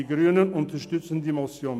Die Grünen unterstützen die Motion.